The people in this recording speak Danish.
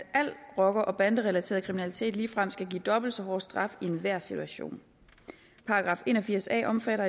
al rocker og banderelateret kriminalitet ligefrem skal give dobbelt så hårde straffe i enhver situation § en og firs a omfatter